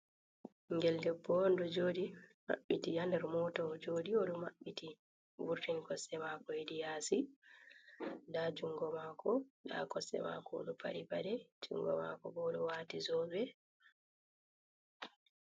Ɓingel debbo on ɗo jooɗi, mabbiti ha nder mota ɗo jooɗi, mabbiti, vurtini kosɗe mako hedi yaasi. Nda jungo mako, nda kosɗe mako, o ɗo paɗi paɗe. Jungo mako bo o ɗo wati zobe.